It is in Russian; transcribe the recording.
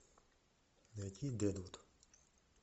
найти дедвуд